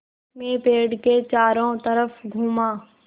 मैं पेड़ के चारों तरफ़ घूमा